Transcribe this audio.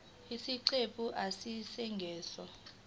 isiqephu a isingeniso